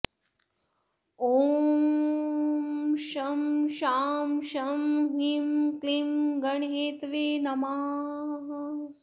ॐ शं शां षं ह्रीं क्लीं गणहेतवे नमः